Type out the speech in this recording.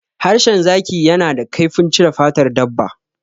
Harshen zaki yana da kaifin cire fatar dabba.